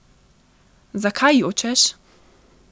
Zakaj jočeš?